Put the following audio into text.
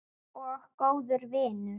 Og góður vinur.